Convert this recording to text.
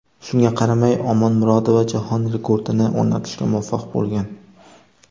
Shunga qaramay, Omonmurodova jahon rekordini o‘rnatishga muvaffaq bo‘lgan.